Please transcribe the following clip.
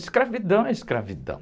Escravidão é escravidão.